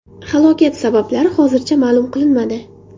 Halokat sabablari hozircha ma’lum qilinmadi.